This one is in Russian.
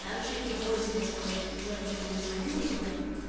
так же и пользователя вот девочки мне звонили две